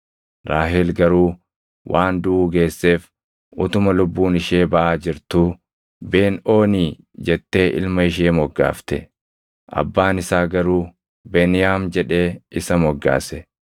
Raahel garuu waan duʼuu geesseef utuma lubbuun ishee baʼaa jirtuu Ben-Oonii jettee ilma ishee moggaafte. Abbaan isaa garuu Beniyaam jedhee isa moggaase.